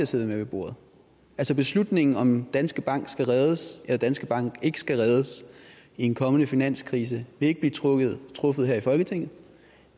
sidde med ved bordet altså beslutningen om om danske bank skal reddes eller danske bank ikke skal reddes i en kommende finanskrise vil ikke blive truffet truffet her i folketinget